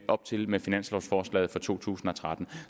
op til med finanslovforslaget for to tusind og tretten